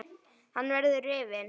Hann verður rifinn.